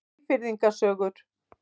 Eyfirðinga sögur.